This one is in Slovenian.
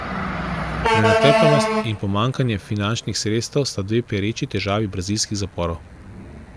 Prenatrpanost in pomanjkanje finančnih sredstev sta dve pereči težavi brazilskih zaporov.